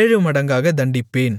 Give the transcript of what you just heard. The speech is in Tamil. ஏழுமடங்காகத் தண்டிப்பேன்